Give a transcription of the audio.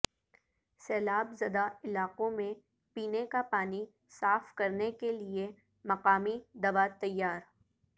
سیلاب زدہ علاقوں میں پینے کا پانی صاف کرنے کےلیے مقامی دوا تیار